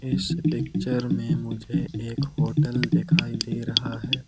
इस पिक्चर में मुझे एक होटल दिखाई दे रहा है।